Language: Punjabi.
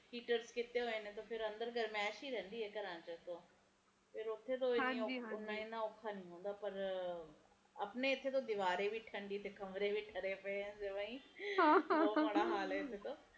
ਹੀਟਰ ਕੀਤੇ ਹੋਏ ਨੇ ਤਾ ਅੰਦਰ ਗਰਮੈਸ਼ ਹੀ ਰਹਿੰਦੀ ਹੈ ਘਰਾਂ ਚ ਤੇ ਓਥੇ ਓਹਨਾ ਔਖਾ ਨੀ ਹੈਗਾ ਪਰ ਆਪਣੇ ਇਥੇ ਤਾ ਦੀਵਾਰੇ ਵੀ ਠੰਡੀ ਤੇ ਕਮਰੇ ਵੀ ਜਵਾ ਠਰੇ ਰਹਿੰਦੇ ਆ ਬਹੁਤ ਮਾੜਾ ਹਾਲ ਆ ਇਥੇ ਤਾ